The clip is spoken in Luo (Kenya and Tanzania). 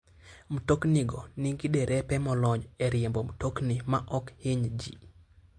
Mtoknigo nigi derepe molony e riembo mtokni maok hiny ji.